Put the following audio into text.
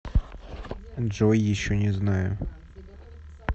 джой еще не знаю